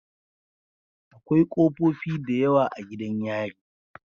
Akwai kofofi da yawa a gidan yari